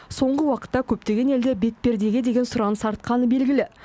соңғы уақытта көптеген елде бетпердеге деген сұраныс артқаны белгілі